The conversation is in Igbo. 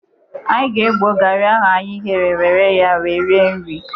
Anyi ga-egbo garị ahụ anyị ghere were ya wee rie nri.